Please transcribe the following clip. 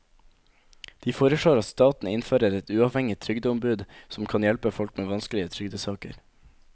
De foreslår at staten innfører et uavhengig trygdeombud som kan hjelpe folk med vanskelige trygdesaker.